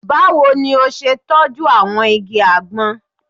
Báwo ni o ṣe tọ́jú àwọn igi àgbọn?